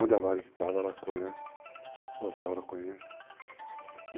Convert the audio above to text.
Onde a VARIG estava, ela conhece.